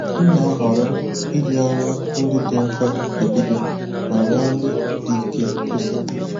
M na-ahọrọ iji ọrụ ndị dị mfe ebido ma were ndị dị ike kwụsị